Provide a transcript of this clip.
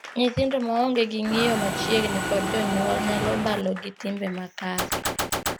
Nyithindo wa onge gi ng'iyo machiegni kod jonyuol nyalo balo gi timbe makare.